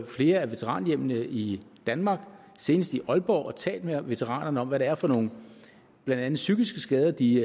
flere af veteranhjemmene i danmark senest i aalborg og talt med veteranerne om hvad det er for nogle blandt andet psykiske skader de